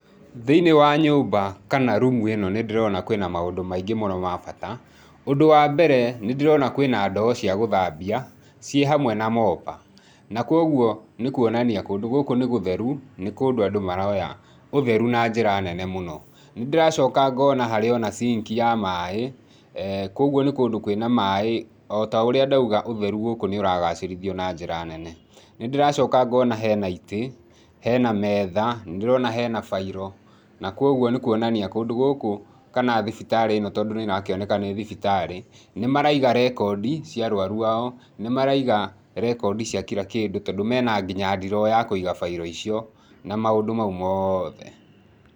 Thĩiniĩ wa nyũmba kana rumu ĩno nĩ ndĩrona kwĩna maũndũ maingĩ mũno ma bata, ũndũ wa mbere, nĩ ndĩrona kwĩ na ndoo cia gũthambia, ciĩ hamwe na mopper, na koguo nĩ kuonania kũndũ gũkũ nĩ gũtheru, nĩ kũndũ andũ maroya ũtheru na njĩra nene mũno, nĩndĩracoka ngona harĩ o na sink ya maĩ, koguo nĩ kũndũ kwĩ na maĩ, o ta ũrĩa ndauga ũtheru gũkũ nĩ ũragacĩrithio na njĩra nene. Nĩndĩracoka ngona hena itĩ, hena metha, nĩndĩrona hena bairo na koguo nĩ kũonania kũndũ gũkũ kana thibitarĩ ĩno, tondũ nĩ ĩrakĩoneka nĩ thibitarĩ, nĩ maraiga rekondi cia arwaru ao, nĩ maraiga rekondi cia kira kĩndũ, tondũ mena nginya ndiroo ya kũiga bairo icio, na maũndũ mau mothe.